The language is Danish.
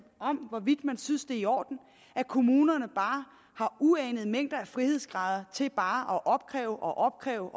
hvorvidt man synes det er i orden at kommunerne har uanede mængder af frihedsgrader til bare at opkræve og opkræve